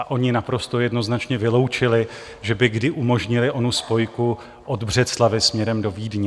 A oni naprosto jednoznačně vyloučili, že by kdy umožnili onu spojku od Břeclavi směrem do Vídně.